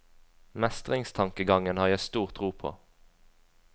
Mestringstankegangen har jeg stor tro på.